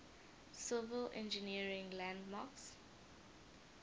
civil engineering landmarks